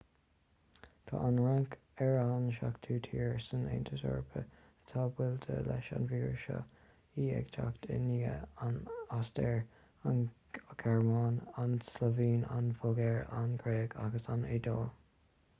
tá an fhrainc ar an seachtú tír san aontas eorpach atá buailte leis an víreas seo í ag teacht i ndiaidh an ostair an ghearmáin an tslóivéin an bhulgáir an ghréig agus an iodáil